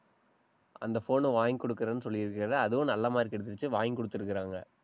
அந்த phone ன வாங்கி கொடுக்கிறேன்னு சொல்லி இருக்காரு. அதுவும் நல்ல mark எடுத்துருச்சு, வாங்கி கொடுத்திருக்கிறாங்க.